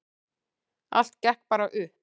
Allt gekk bara upp.